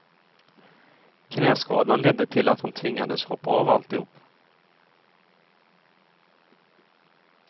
Knäskadan ledde till att han tvingades hoppa av alltihop.